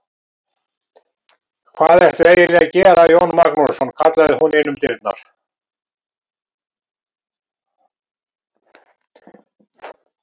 Hvað ertu eiginlega að gera Jón Magnússon, kallaði hún inn um dyrnar.